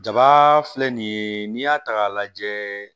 Jaba filɛ nin ye n'i y'a ta k'a lajɛ